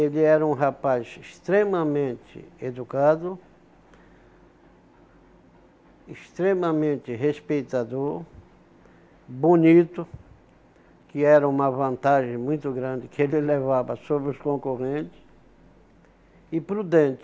Ele era um rapaz extremamente educado, extremamente respeitador, bonito, que era uma vantagem muito grande que ele levava sobre os concorrentes, e prudente.